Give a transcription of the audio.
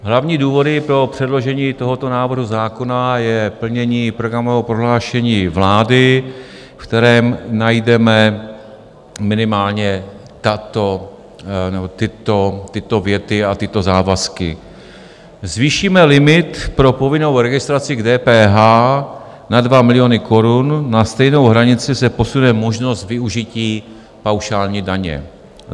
Hlavní důvod pro předložení tohoto návrhu zákona je plnění programového prohlášení vlády, ve kterém najdeme minimálně tyto věty a tyto závazky: "Zvýšíme limit pro povinnou registraci k DPH na 2 miliony korun, na stejnou hranici se posune možnost využití paušální daně.